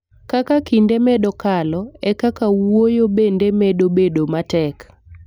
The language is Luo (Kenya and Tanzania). Kaka kinde medo kalo, e kaka wuoyo bende medo bedo matek.